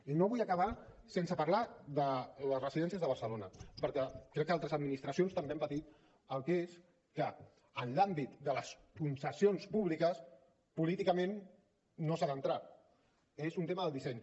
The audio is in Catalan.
i no vull acabar sense parlar de les residències de barcelona perquè crec que altres administracions també han patit el que és que en l’àmbit de les concessions públiques políticament no s’hi ha d’entrar és un tema del disseny